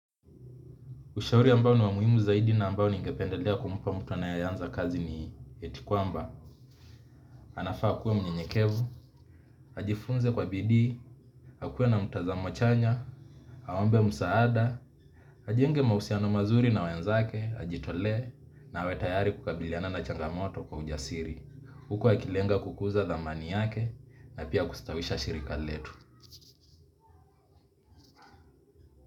Ushauri ambao ni wamuhimu zaidi na ambao ningependelea kumpa mtu anayeanza kazi ni eti kwamba. Anafaa akuwe mnyenyekevu, ajifunze kwa bidii, akuwe na mtazamo chanya, aombe musaada, ajenge mausiano mazuri na wenzake, ajitolee na awetayari kukabiliana na changamoto kwa ujasiri. Huku akilenga kukuza dhamani yake na pia kustawisha shirika letu.